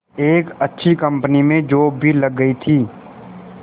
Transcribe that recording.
एक अच्छी कंपनी में जॉब भी लग गई थी